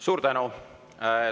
Suur tänu!